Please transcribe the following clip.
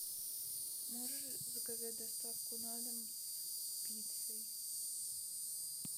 можешь заказать доставку на дом с пиццей